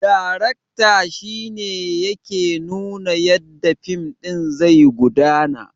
Darakta shine yake nuna yadda fim ɗin zai gudana